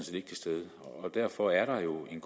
derfor er der jo en